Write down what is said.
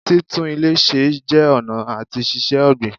Títún ilè se jẹ́ ọ̀nà àti ṣíṣe ọ̀gbìn